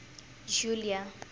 julia